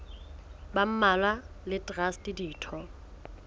ba mmalwa le traste ditho